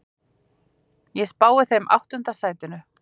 Ég spái þeim áttunda sætinu.